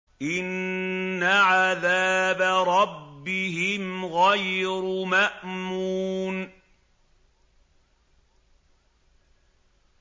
إِنَّ عَذَابَ رَبِّهِمْ غَيْرُ مَأْمُونٍ